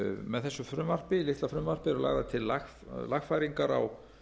með þessu litla frumvarpi eru lagðar til lagfæringar á